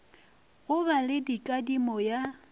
go ba le kadimo ya